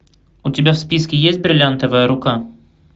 у тебя в списке есть бриллиантовая рука